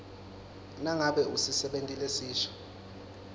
nangabe usisebenti lesisha